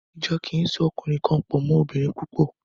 Ìjọ kì í so ọkùnrin kan pọ̀ mọ́ obìnrin púpọ̀.